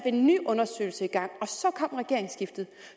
en ny undersøgelse i gang og så kom regeringsskiftet